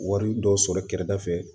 Wari dɔ sɔrɔ kɛrɛda fɛ